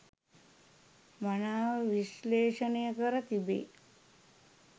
මනාව විශ්ලේෂණය කර තිබේ